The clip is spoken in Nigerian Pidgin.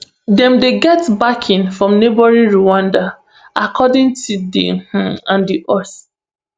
dem dey get backing from neighbouring rwanda according to di un and di us